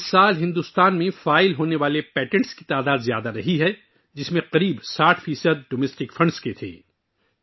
اس سال، ہندوستان میں داخل ہونے والے پیٹنٹ کی تعداد زیادہ رہی ہے، جن میں سے تقریباً 60 فیصد گھریلو فنڈز کے تھے